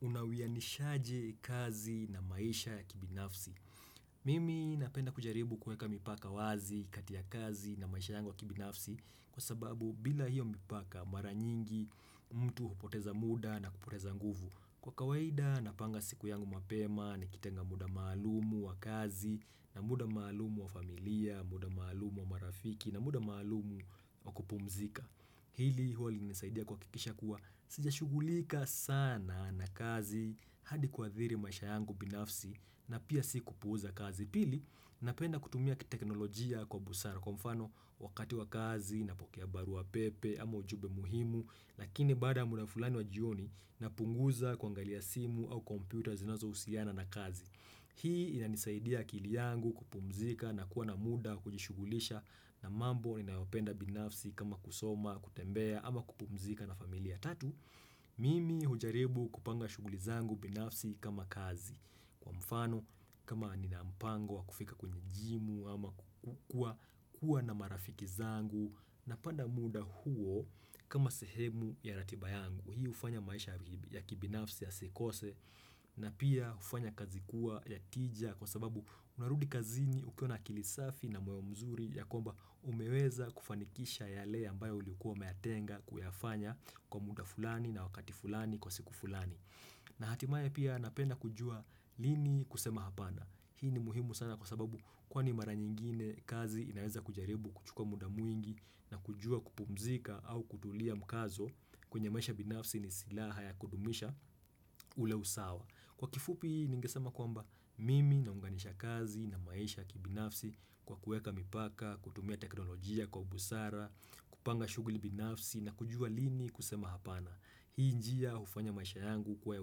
Unawianishaje kazi na maisha ya kibinafsi Mimi napenda kujaribu kueka mipaka wazi kati ya kazi na maisha yangu wa kibinafsi Kwa sababu bila hiyo mipaka mara nyingi mtu hupoteza muda na kupoteza nguvu Kwa kawaida napanga siku yangu mapema nikitenga muda maalumu wa kazi na muda maalumu wa familia, muda maalumu wa marafiki na muda maalumu wa kupumzika Hili huwa linanisaidia kuhakikisha kuwa sijashugulika sana na kazi hadi kuathiri maisha yangu binafsi na pia sikupuuza kazi. Pili napenda kutumia teknolojia kwa busara kwa mfano wakati wa kazi napokea barua pepe ama ujumbe muhimu. Lakini baada ya muda fulani wa jioni napunguza kuangalia simu au kompyuta zinazohusiana na kazi. Hii inanisaidia akili yangu kupumzika na kuwa na muda kujishugulisha na mambo ninayopenda binafsi kama kusoma, kutembea ama kupumzika na familia tatu. Mimi hujaribu kupanga shuguli zangu binafsi kama kazi. Kwa mfano kama nina mpango wa kufika kwenye jimu ama kukuwa na marafiki zangu napanga muda huo kama sehemu ya ratiba yangu. Hii hufanya maisha ya kibinafsi yasikose na pia hufanya kazi kuwa ya tija kwa sababu unarudi kazini ukiwa na akili safi na moyo mzuri ya kwamba umeweza kufanikisha yale ambayo ulikuwa umeyatenga kuyafanya kwa muda fulani na wakati fulani kwa siku fulani. Na hatimaya pia napenda kujua lini kusema hapana. Hii ni muhimu sana kwa sababu kwani mara nyingine kazi inaweza kujaribu kuchuka muda mwingi na kujua kupumzika au kutulia mkazo kwenye maisha binafsi ni silaha ya kudumisha ule usawa. Kwa kifupi ningesema kwamba mimi naunganisha kazi na maisha kibinafsi kwa kueka mipaka, kutumia teknolojia kwa busara, kupanga shuguli binafsi na kujua lini kusema hapana. Hii njia hufanya maisha yangu kuwa ya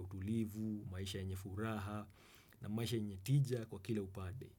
utulivu, maisha yenye furaha na maisha yenye tija kwa kile upade.